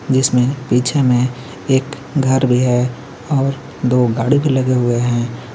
जिसमें पिछे में एक घर भी है और दो गाड़ी भी लगे हुए हैं.